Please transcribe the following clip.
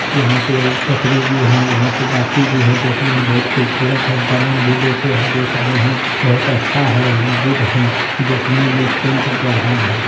यहाँ पे पतरी भी है वहां पे बाती भी है। देखने में बहुत खूबसूरत है। दांत भी दो ठो है देख रहे हैं। बहुत अच्छा है गुड है। देखने में टेंट बढ़िया है।